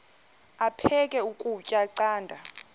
aphek ukutya canda